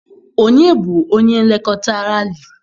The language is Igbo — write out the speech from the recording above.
Ọnye bụ onye nlekọta Ralị?